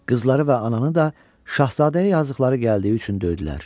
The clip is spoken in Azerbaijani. Qızları və ananı da şahzadəyə yazdıqları gəldiyi üçün döydülər.